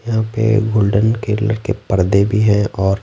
यहाँ पे गोल्डन केले के पर्दे भी हैंऔर--